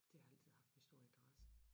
Det har altid haft min store interesse